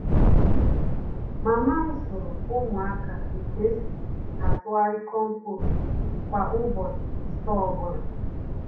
Mama m zụrụ ụmụaka ētu esi atụgharị compost kwa ụbọchị ise ọ bụla.